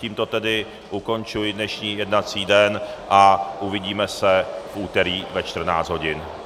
Tímto tedy ukončuji dnešní jednací den a uvidíme se v úterý ve 14 hodin.